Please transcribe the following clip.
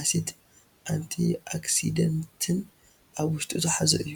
አሲድ ን አንቲ ኦክሲደንትን ኣብ ውሽጡ ዝሓዘ እዩ፡፡